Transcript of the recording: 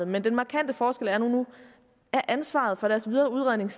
men den markante forskel er nu at ansvaret for deres videre udredning